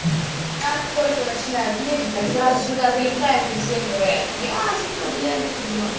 как только начинают месяц так сразу сюда залетают и всем говорят я сука бля мефедрон